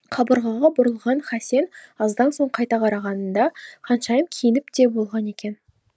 қабырғаға бұрылған хасен аздан соң қайта қарағанында ханшайым киініп те болған екен